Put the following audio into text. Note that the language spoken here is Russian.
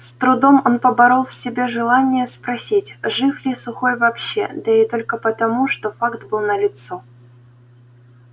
с трудом он поборол в себе желание спросить жив ли сухой вообще да и только потому что факт был налицо